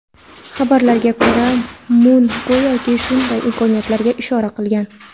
Xabarlarga ko‘ra, Mun go‘yoki, shunday imkoniyatga ishora qilgan.